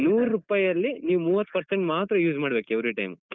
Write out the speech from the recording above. ನೂರುಪೈಯಲ್ಲಿ ನೀವು ಮೂವತ್ percent ಮಾತ್ರ use ಮಾಡ್ಬೇಕು every time.